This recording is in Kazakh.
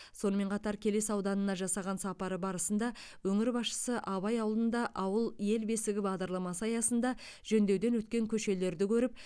сонымен қатар келес ауданына жасаған сапары барысында өңір басшысы абай ауылында ауыл ел бесігі бағдарламасы аясында жөндеуден өткен көшелерді көріп